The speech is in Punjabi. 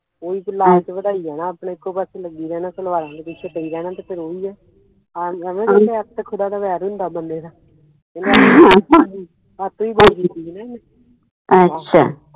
ਓਹੀ ਵਧਾਈ ਜਾਣਾ ਆਪਨੇ ਇੱਕੋ ਪਾਸੇ ਲੱਗੀ ਰਹਿਣਾ ਸਲਵਾਰਾਂ ਦੇ ਪਿੱਛੇ ਪਈ ਰਹਿਣਾ ਤੇ ਫਿਰ ਓਹੀ ਆ ਐਵੇ ਕਹਿੰਦੇ ਆ ਖੁਦਾ ਦਾ ਵੈਰ ਹੁੰਦਾ ਬੰਦੇ ਨਾ